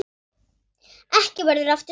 Ekki verður aftur snúið.